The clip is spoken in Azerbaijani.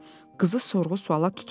Qızı sorğu-suala tutmadı.